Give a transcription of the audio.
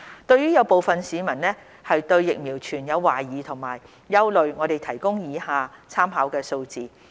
對於有部分市民對疫苗存有懷疑和憂慮，我提供以下參考數字。